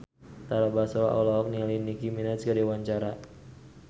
Tara Basro olohok ningali Nicky Minaj keur diwawancara